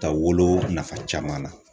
Ta wolo nafa caman na